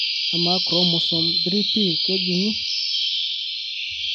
Amaa Chromosome 3p kejung'i?